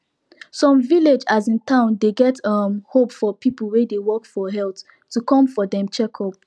some village asin town dey get um hope for people wey dey work for health to come for dem checkup